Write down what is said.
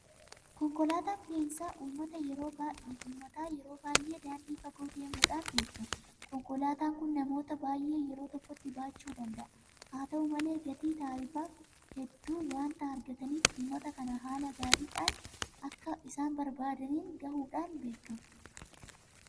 Konkolaataan fe'insa uummataa yeroo baay'ee daandii fagoo deemuudhaan beekama. Konkolaataan kun namoota baay'ee yeroo tokkotti baachuu danda'a. Haata'u malee gatii taarifaa hedduu waanta argataniif uummata kana haala gaariidhaan bakka isaan barbaadaniin gahuudhaan beekama.